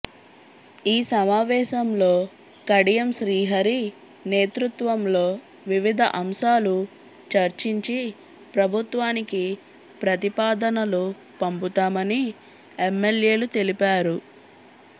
ఈ సమావేశంలో కడియం శ్రీహరి నేతృత్వంలో వివిధ అంశాలు చర్చించి ప్రభుత్వానికి ప్రతిపాదనలు పంపుతామని ఎమ్మెల్యేలు తెలిపారు